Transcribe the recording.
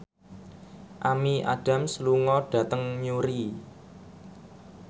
Amy Adams lunga dhateng Newry